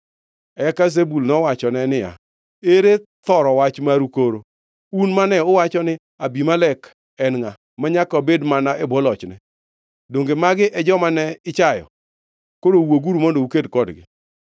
Eka Zebul nowachone niya, “Ere thoro wach maru koro, un mane uwacho ni, ‘Abimelek en ngʼa manyaka wabed mana e bwo lochne?’ Donge magi e joma ne ichayo? Koro wuoguru mondo uked kodgi!”